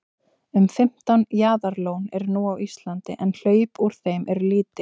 um fimmtán jaðarlón eru nú á íslandi en hlaup úr þeim eru lítil